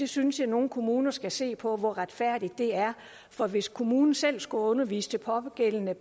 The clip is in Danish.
synes at nogle kommuner skulle se på hvor retfærdigt det er for hvis kommunen selv skulle undervise de pågældende